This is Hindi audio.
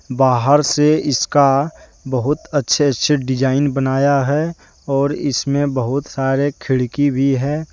बाहर से इसका बहुत अच्छे अच्छे डिजाइन बनाया है और इसमें बहुत सारे खिड़की भी है।